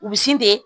Bisi de